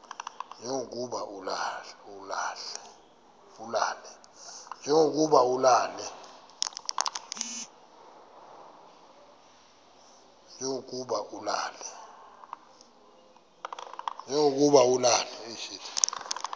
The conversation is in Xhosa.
nje lokuba ulale